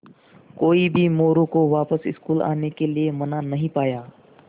कोई भी मोरू को वापस स्कूल आने के लिये मना नहीं पाया